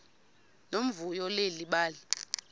nomvuyo leli bali